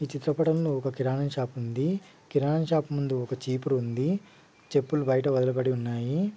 ఈ చిత్రపటం లో ఒక ఆ కిరాణా షాపు ఉంది కిరాణా షాపు ముందు ఒక చీపురు ఉంది చెప్పులు బయట వదలబడి ఉన్నాయి.